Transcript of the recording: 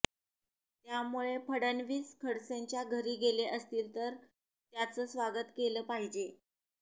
त्यामुळे फडणवीस खडसेंच्या घरी गेले असतील तर त्याचं स्वागत केलं पाहिजे